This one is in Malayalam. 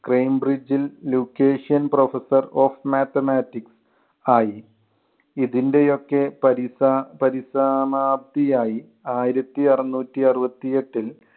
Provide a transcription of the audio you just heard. ക്രേം ബ്രിഡ്ജില്‍ location professor of mathematics ആയി. ഇതിന്‍റെയൊക്കെ പരിസാ~ പരിസമാപ്തിയായി ആയിരത്തി അറൂനൂറ്റി അറുപത്തി എട്ടിൽ